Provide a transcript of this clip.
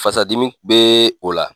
Fasa dimi bɛ o la.